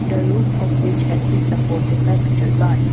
The roof of which has been supported by metal bars.